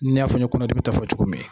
I n'a fɔ n ye kɔnɔdimi ta fɔ cogo min.